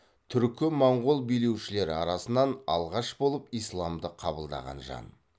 түркі моңғол билеушілері арасынан алғашқы болып исламды қабылдаған жан